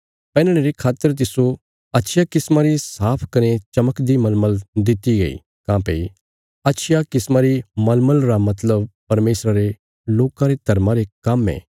पैहनणे रे खातर तिस्सो अच्छिया किस्मा री साफ कने चमकदी मलमल दित्ति गई काँह्भई अच्छिया किस्मा री मलमल रा मतलब परमेशरा रे लोकां रे धर्मा रे काम्म ये